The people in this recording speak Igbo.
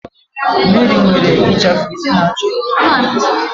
Mary nwere ichafu isi na-acha odo odo